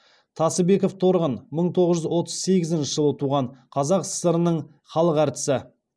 тасыбекова торғын мың тоғыз жүз отыз сегізінші жылы туған қазақ сср інің халық әртісі